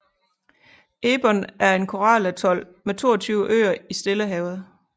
Ebon er en koralatol med 22 øer i Stillehavet